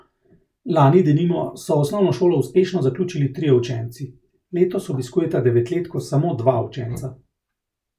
Lani denimo so osnovno šolo uspešno zaključili trije učenci, letos obiskujeta devetletko samo dva učenca.